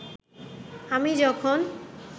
আমি যখন